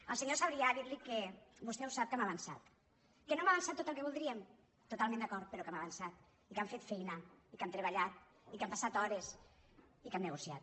al senyor sabrià dir·li que vostè ho sap que hem avançat que no hem avançat tot el que voldríem to·talment d’acord però que hem avançat i que hem fet feina i que hem treballat i que hem passat hores i que hem negociat